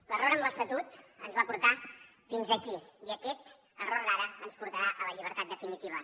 l’error amb l’estatut ens va portar fins aquí i aquest error d’ara ens portarà a la llibertat definitiva